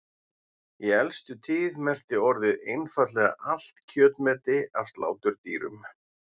Í elstu tíð merkti orðið einfaldlega allt kjötmeti af sláturdýrum.